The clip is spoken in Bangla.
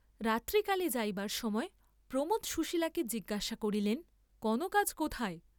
রাত্রিকালে যাইবার সময় প্রমোদ সুশীলাকে জিজ্ঞাসা করিলেন কনক আজ কোথায়?